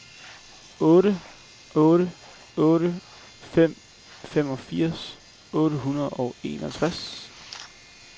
otte otte otte fem femogfirs otte hundrede og enogtres